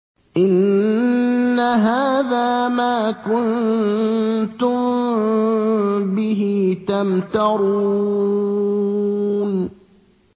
إِنَّ هَٰذَا مَا كُنتُم بِهِ تَمْتَرُونَ